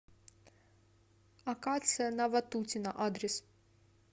акация на ватутина адрес